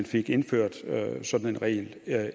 fik indført sådan en regel